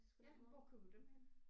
Ja hvor køber du dem henne?